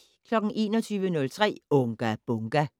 21:03: Unga Bunga!